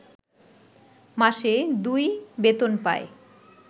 মাসে ২ বেতন পায়